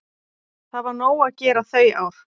Það var nóg að gera þau ár.